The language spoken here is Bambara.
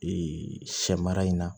Ee sɛ mara in na